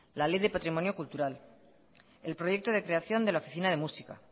la ley de patrimonio cultural el proyecto de creación de la oficina de música